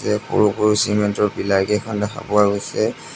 ইয়াত সৰু-সৰু চিমেণ্ট ৰ পীলাৰ কেইখন দেখা পোৱা গৈছে।